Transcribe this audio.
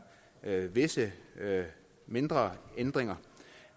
er visse mindre ændringer